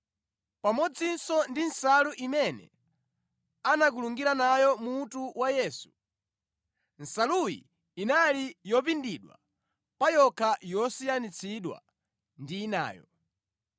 pamodzinso ndi nsalu imene anakulungira nayo mutu wa Yesu. Nsaluyi inali yopindidwa pa yokha yosiyanitsidwa ndi inayo.